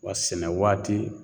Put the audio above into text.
Wa sɛnɛ waati